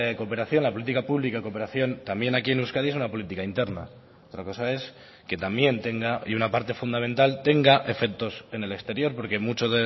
cooperación la política pública de cooperación también aquí en euskadi es una política interna otra cosa es que también tenga y una parte fundamental tenga efectos en el exterior porque mucho